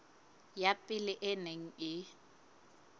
ya pele e neng e